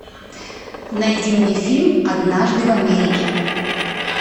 найди мне фильм однажды в америке